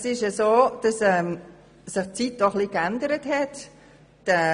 Es ist so, dass sich die Zeiten auch ein bisschen geändert haben.